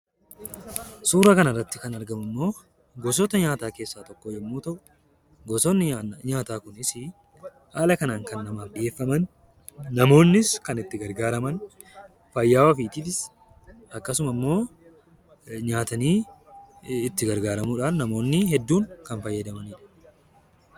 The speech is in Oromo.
Suuraa kana irratti kan argamu immoo gosoota nyaataa keessaa tokko yammuu ta'u; gosonni nyaata kunis haala kanaan kan namaaf dhiyeeffaman, namoonnis kan itti gargaaraman, fayyaa ofiitiifis akkasumas namoonni hedduun kan sooratanii dha.